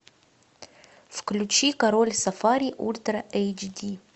включи король сафари ультра эйчди